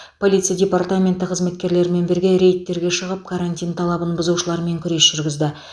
полиция департаменті қызметкерлерімен бірге рейдтер шығып карантин талабын бұзушылармен күрес жүргізді